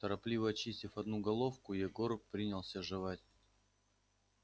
торопливо очистив одну головку егор принялся жевать